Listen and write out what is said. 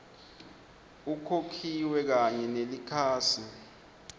ukhokhile kanye nelikhasi